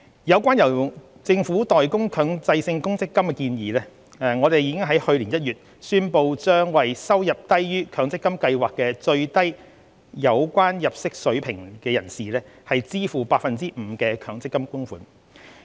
有關由政府代供強制性公積金的建議，我們已於去年1月宣布將為收入低於強積金計劃的最低有關入息水平者支付 5% 的強積金供款。